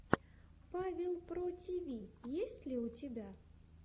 павел про тиви есть ли у тебя